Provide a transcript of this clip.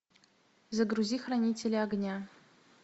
загрузи хранители огня